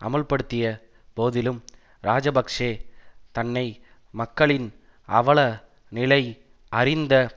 அமுல்படுத்திய போதிலும் இராஜபக்ஷ தன்னை மக்களின் அவல நிலை அறிந்த